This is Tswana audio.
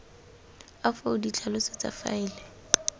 a foo ditlhaloso tsa faele